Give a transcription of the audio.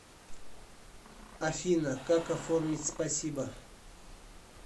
афина как оформить спасибо